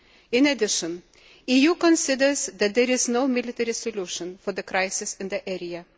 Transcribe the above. In addition, the EU considers that there is no military solution for the crisis in the area.